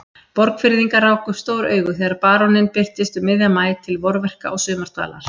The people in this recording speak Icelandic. Borgfirðingar ráku upp stór augu þegar baróninn birtist um miðjan maí til vorverka og sumardvalar.